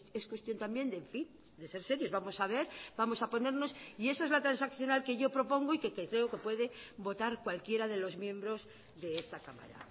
es cuestión también en fin de ser serios vamos a ver vamos a ponernos y esa es la transaccional que yo propongo y que creo que puede votar cualquiera de los miembros de esta cámara